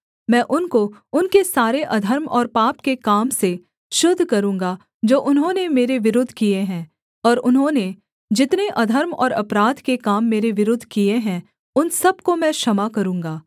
मैं उनको उनके सारे अधर्म और पाप के काम से शुद्ध करूँगा जो उन्होंने मेरे विरुद्ध किए हैं और उन्होंने जितने अधर्म और अपराध के काम मेरे विरुद्ध किए हैं उन सब को मैं क्षमा करूँगा